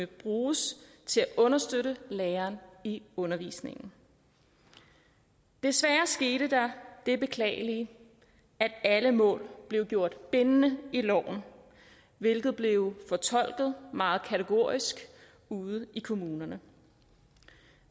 bruges til at understøtte læreren i undervisningen desværre skete der det beklagelige at alle mål blev gjort bindende i loven hvilket blev fortolket meget kategorisk ude i kommunerne